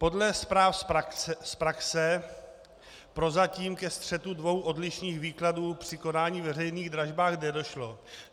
Podle zpráv z praxe prozatím ke střetu dvou odlišných výkladů při konání veřejných dražeb nedošlo.